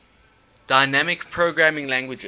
dynamic programming languages